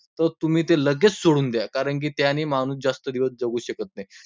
तर तुम्ही ते लगेच सोडून द्या, कारण की त्याने माणूस जास्त दिवस जगू शकत नाही.